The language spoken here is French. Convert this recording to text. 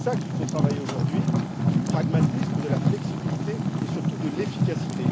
C'est cela qu'il faut travailler aujourd'hui du pragmatisme, de la flexibilité et, surtout, de l'efficacité.